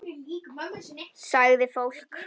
Sagði fólk.